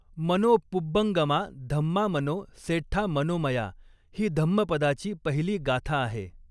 मनो पुब्बंगमा धम्मा मनो सेठ्ठा मनोमया। ही धम्मपदाची पहिली गाथा आहे.